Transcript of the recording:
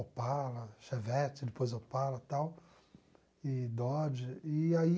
Opala, Chevette, depois Opala e tal, e Dodge, e aí...